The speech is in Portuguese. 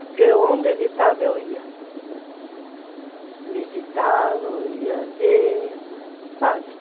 Porque onde ele estava, eu ia visitá-lo, ia ver, sabe?